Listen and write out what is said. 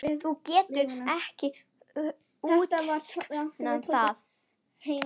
Hún getur ekki útskýrt það.